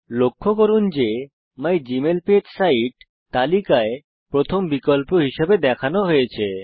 লক্ষ্য করুন যে মাইগমেইলপেজ সাইট তালিকায় প্রথম বিকল্প হিসেবে দেখানো হয়েছে